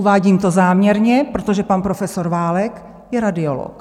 Uvádím to záměrně, protože pan profesor Válek je radiolog.